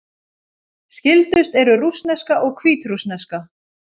Skyldust eru rússneska og hvítrússneska.